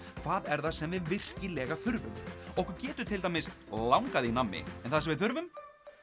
hvað er það sem við virkilega þurfum okkur getur til dæmis langað í nammi en það sem við þurfum